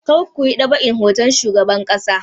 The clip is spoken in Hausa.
Kar ku yi ɗab'in hoton shugaban ƙasa!